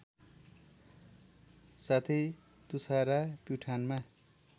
साथै तुषारा प्युठानमा